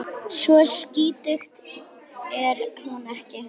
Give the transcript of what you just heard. Svo skítug er hún ekki.